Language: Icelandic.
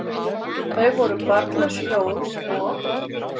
Þau voru barnlaus hjón, og